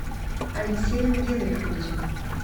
алексеем генриховичем